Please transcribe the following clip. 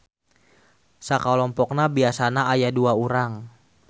Sakalompokna biasana aya dua urang.